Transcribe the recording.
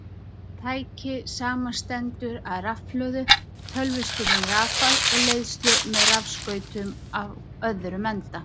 Tækið samanstendur af rafhlöðu, tölvustýrðum rafal og leiðslu með rafskautum á öðrum enda.